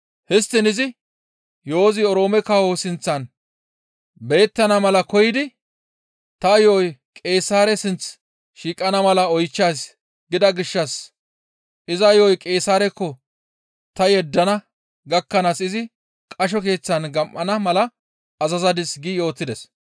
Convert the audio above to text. Histtiin izi yo7ozi Oroome kawo sinththan beyettana mala koyidi, ‹Ta yo7oy Qeesaare sinth shiiqana mala oychchays› gida gishshas iza yo7o Qeesaarekko ta yeddana gakkanaas izi qasho keeththan gam7ana mala azazadis» gi yootides.